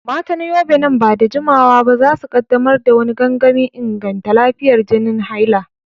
Matan Yobe, nan ba da jimawa ba za su kaddamar da wani gangamin inganta lafiyar jinin haila.